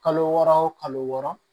Kalo wɔɔrɔ o kalo wɔɔrɔ